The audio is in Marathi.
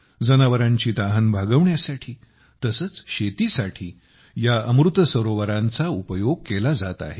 जनावरांची तहान भागवण्यासाठी तसेच शेतीसाठी या अमृत सरोवरांचा उपयोग केला जात आहे